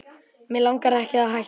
Mig langar ekki að hætta.